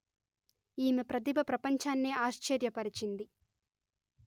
ఈమె ప్రతిభ ప్రపంచాన్నే ఆశ్చర్య పరిచింది